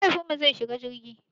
Mahaifinmu zai shiga jirgi.